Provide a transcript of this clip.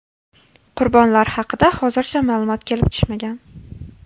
Qurbonlar haqida hozircha ma’lumot kelib tushmagan.